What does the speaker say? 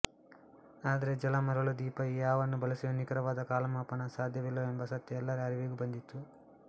ಆದರೆ ಜಲ ಮರಳು ದೀಪ ಈ ಯಾವನ್ನು ಬಳಸಿಯೂ ನಿಖರವಾದ ಕಾಲಮಾಪನ ಸಾಧ್ಯಾವಿಲ್ಲವೆಂಬ ಸತ್ಯ ಎಲ್ಲರ ಅರಿವಿಗೂ ಬಂದಿತ್ತು